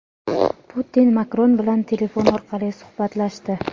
Putin Makron bilan telefon orqali suhbatlashdi.